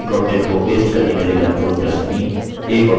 एक object को paste करने के लिए ctrl + v